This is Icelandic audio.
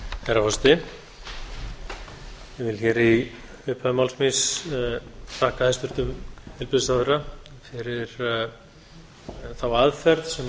herra forseti ég vil í upphafi máls míns þakka hæstvirtum heilbrigðisráðherra fyrir þá aðferð sem